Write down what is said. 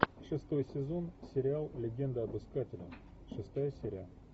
шестой сезон сериал легенда об искателе шестая серия